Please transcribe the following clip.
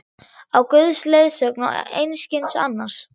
Á Guðs leiðsögn og einskis annars!